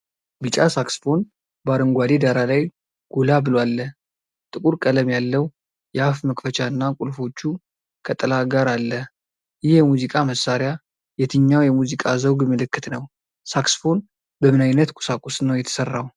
ቢጫ ሳክስፎን በአረንጓዴ ዳራ ላይ ጎላ ብሎ አለ። ጥቁር ቀለም ያለው የአፍ መክፈቻና ቁልፎቹ ከጥላ ጋር አለ። ይህ የሙዚቃ መሣሪያ የትኛው የሙዚቃ ዘውግ ምልክት ነው? ሳክስፎን በምን ዓይነት ቁሳቁስ ነው የተሰራው?